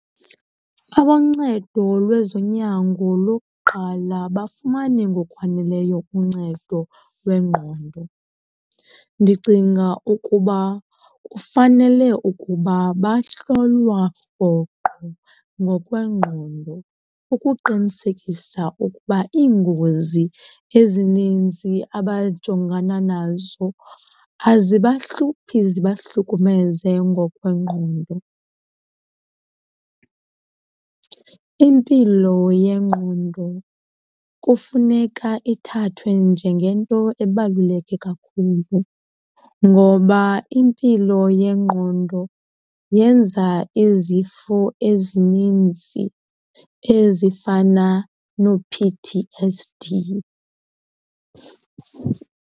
Aboncedo lwezonyango lokuqala abafumani ngokwaneleyo uncedo lwengqondo. Ndicinga ukuba kufanele ukuba bahlolwa rhoqo ngokwengqondo ukuqinisekisa ukuba iingozi ezininzi abajongana nazo azibahluphi zibahlukumeze ngokwengqondo. Impilo yengqondo kufuneka ithathwe njengento ebaluleke kakhulu ngoba impilo yengqondo yenza izifo ezininzi ezifana noo-P_T_S_D.